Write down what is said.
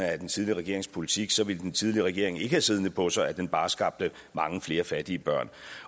af den tidligere regerings politik så ville den tidligere regering ikke have siddende på sig at den bare skabte mange flere fattige børn